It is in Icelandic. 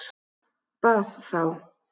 Bað þá